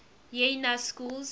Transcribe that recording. y na schools